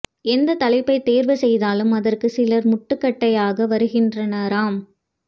எந்த்த தலைப்பைத் தேர்வு செய்தாலும் அதற்கு சிலர் முட்டுக்கட்டையாக வருகின்றனராம்